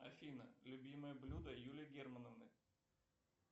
афина любимое блюдо юлии германовны